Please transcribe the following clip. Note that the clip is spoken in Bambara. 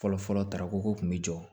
Fɔlɔfɔlɔ tarako kun mi jɔ